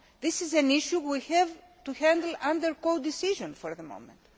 This is an issue we have to handle under codecision for the moment.